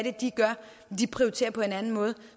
er de gør og de prioriterer på den måde og